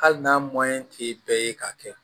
Hali n'a ti bɛɛ ye k'a kɛ